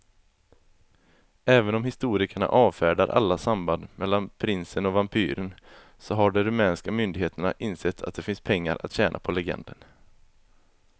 Även om historikerna avfärdar alla samband mellan prinsen och vampyren så har de rumänska myndigheterna insett att det finns pengar att tjäna på legenden.